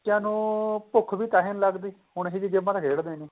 ਬੱਚਿਆਂ ਨੂੰ ਭੁੱਖ ਵੀ ਤਾਹੀ ਨੀਂ ਲੱਗਦੀ ਹੁਣ ਇਹੀ ਜਿਹੀ ਗੇਮਾ ਤਾਂ ਖੇਡਦੇ ਨੇ